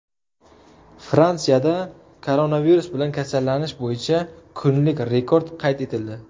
Fransiyada koronavirus bilan kasallanish bo‘yicha kunlik rekord qayd etildi.